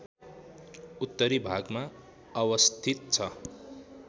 उत्तरी भागमा अवस्थित छ